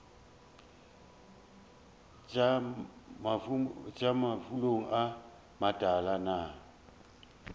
iša mafulong a matala na